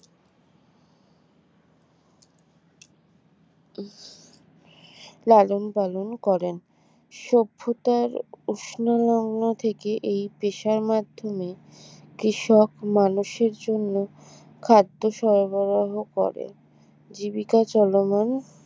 লালন পালন করেন সভ্যতার উষ্ণ লগ্ন থেকে এই পেশার মাধ্যমে কৃষক মানুষের জন্য খাদ্য সরবরাহ করে জীবিকা চলমান